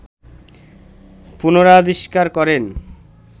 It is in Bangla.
পুনরাবিষ্কার করেন